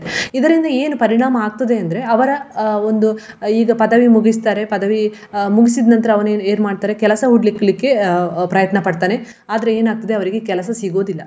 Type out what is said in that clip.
ಇದರಿಂದ ಏನು ಪರಿಣಾಮ ಆಗ್ತದೆ ಅಂದ್ರೆ ಅವರ ಅಹ್ ಒಂದು ಈಗ ಪದವಿ ಮುಗಿಸ್ತಾರೆ ಪದವಿ ಅಹ್ ಮುಗಿಸಿದ್ ನಂತರ ಅವನು ಏನ್ ಏನ್ ಮಾಡ್ತಾನೆ ಕೆಲಸ ಹುಡುಕ್ಲಿಕ್ಕೆ ಅಹ್ ಪ್ರಯತ್ನ ಪಡ್ತಾನೆ ಆದ್ರೆ ಏನ್ ಆಗ್ತದೆ ಅವರಿಗೆ ಕೆಲಸ ಸಿಗುವುದಿಲ್ಲ.